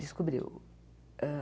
Descobriu. hã